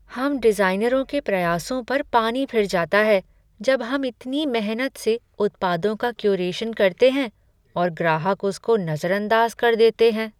हम डिज़ाइनरों के प्रयासों पर पानी फिर जाता है जब हम इतनी मेहनत से उत्पादों का क्यूरेशन करते हैं और ग्राहक उसको नज़रअंदाज़ कर देते हैं।